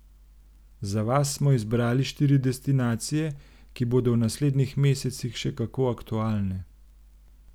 Za vas smo izbrali štiri destinacije, ki bodo v naslednjih mesecih še kako aktualne.